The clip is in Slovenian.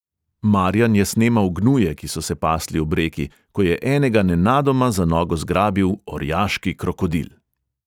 Marjan je snemal gnuje, ki so se pasli ob reki, ko je enega nenadoma za nogo zgrabil orjaški krokodil.